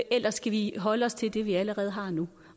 eller skal vi holde os til det vi allerede har nu